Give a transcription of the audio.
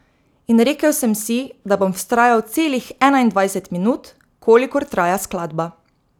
In rekel sem si, da bom vztrajal celih enaindvajset minut, kolikor traja skladba.